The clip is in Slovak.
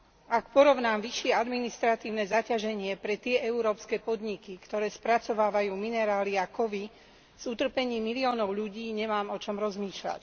Ak porovnám vyššie administratívne zaťaženie tých európskych podnikov, ktoré spracovávajú minerály a kovy, s utrpením miliónov ľudí, nemám o čom rozmýšľať.